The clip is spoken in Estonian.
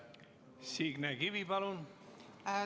Signe Kivi, palun!